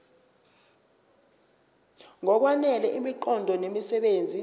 ngokwanele imiqondo nemisebenzi